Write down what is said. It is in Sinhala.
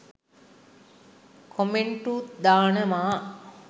කොමෙන්ටුත් දානවා